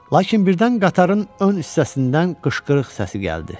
Lakin birdən qatarın ön hissəsindən qışqırıq səsi gəldi.